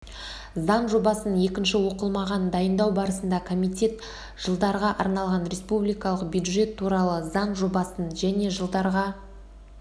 заң жобасын екінші оқылымға дайындау барысында комитет жылдарға арналған республикалық бюджет туралы заң жобасын және жылдарға